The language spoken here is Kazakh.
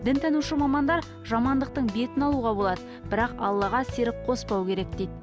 дінтанушы мамандар жамандықтың бетін алуға болады бірақ аллаға серік қоспау керек дейді